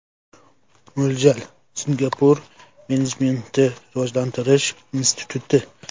Mo‘ljal: Singapur menejmentni rivojlantirish instituti.